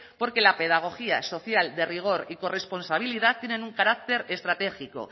porque la pedagogía social de rigor y corresponsabilidad tienen un carácter estratégico